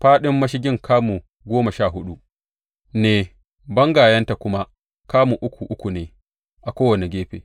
Fāɗin mashigin kamu goma sha huɗu ne, bangayenta kuma kamu uku uku ne a kowane gefe.